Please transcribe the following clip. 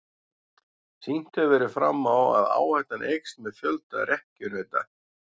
Sýnt hefur verið fram á að áhættan eykst með fjölda rekkjunauta.